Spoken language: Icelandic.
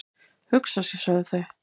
"""Hugsa sér, sögðu þau."""